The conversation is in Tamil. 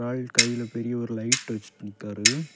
ஆள் கையில பெரிய ஒரு லைட் வச்சு நிக்குறாரு.